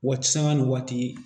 Waati sabanan ni waati